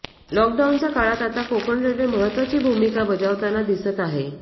लॉकडाऊनच्या काळात आता कोकण रेल्वे महत्त्वाची भूमिका बजावताना दिसत आहे